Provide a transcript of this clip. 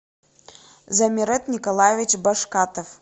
замирет николаевич башкатов